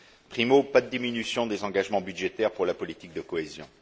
Primo, pas de diminution des engagements budgétaires pour la politique de cohésion.